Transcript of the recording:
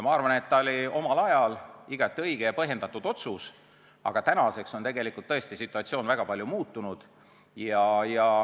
Ma arvan, et see oli omal ajal igati õige ja põhjendatud otsus, aga tänaseks on tõesti situatsioon väga palju muutunud.